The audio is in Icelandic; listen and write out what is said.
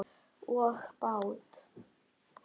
Og bát?